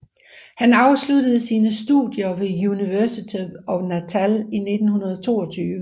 Han afsluttede sine studier ved University of Natal i 1922